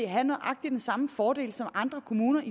have nøjagtig den samme fordel som andre kommuner